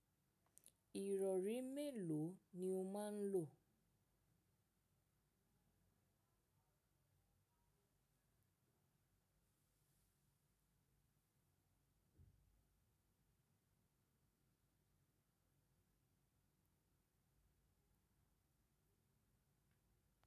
Ìrọ̀rí mélòó ni o máa ń lò?